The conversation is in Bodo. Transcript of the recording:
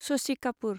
शशि कापुर